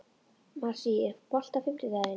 Marsý, er bolti á fimmtudaginn?